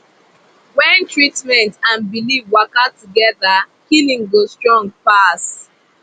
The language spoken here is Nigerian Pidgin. when treatment and belief waka together healing go strong pass